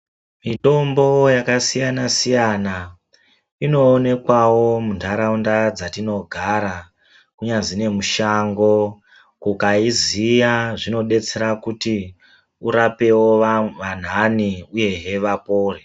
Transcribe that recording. Mitombo yakasiyana siyana inowonekwawo mundharawunda dzatinogara, unyazi nemushango. Ukayiziya zvinodetsera kuti urapewo anhu anhanhe uyewe vapore.